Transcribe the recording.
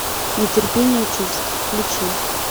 нетерпение чувств включи